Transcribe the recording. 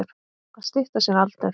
Að stytta sér aldur.